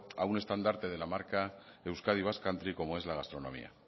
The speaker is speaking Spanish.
a un standarte de la marca euskadi basque country como es la gastronomía